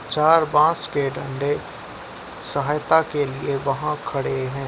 चार बॉस के डंडे सहायता के लिए वहाँ खड़े हैं।